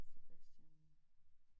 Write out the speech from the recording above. Sebastian?